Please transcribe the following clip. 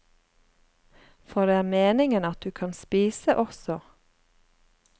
For det er meningen at du kan spise også.